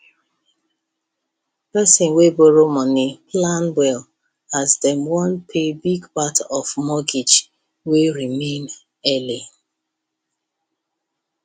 person wey borrow money plan well as dem wan pay big part of mortgage wey remain early